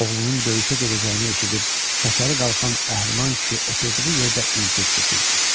Oğlunun döyüşə gedəcəyini eşidib, şəkəri qalxan əhliman kişi oturduğu yerdə insult keçirdi.